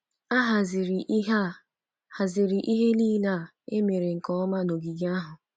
A haziri ihe A haziri ihe nile a emere nke ọma n’ogige ahụ.